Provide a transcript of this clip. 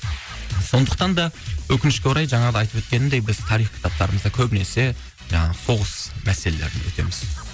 сондықтан да өкінішке орай жаңағыда айтып өткенімдей біз тарих кітаптарымызда көбінесе жаңағы соғыс мәселелерін өтеміз